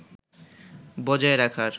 বজায় রাখার